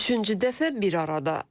Üçüncü dəfə bir arada.